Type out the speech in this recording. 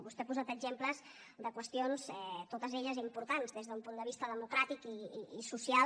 vostè ha posat exemples de qüestions totes elles importants des d’un punt de vista democràtic i social